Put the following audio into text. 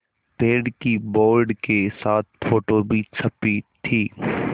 पेड़ की बोर्ड के साथ फ़ोटो भी छपी थी